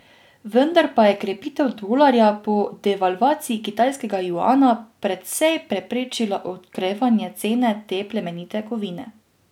Vendar pa je krepitev dolarja po devalvaciji kitajskega juana precej preprečila okrevanje cene te plemenite kovine.